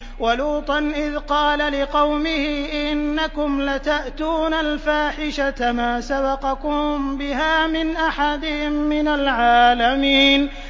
وَلُوطًا إِذْ قَالَ لِقَوْمِهِ إِنَّكُمْ لَتَأْتُونَ الْفَاحِشَةَ مَا سَبَقَكُم بِهَا مِنْ أَحَدٍ مِّنَ الْعَالَمِينَ